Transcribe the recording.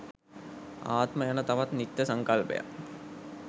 ආත්ම යන තවත් නිත්‍ය සංකල්පයක්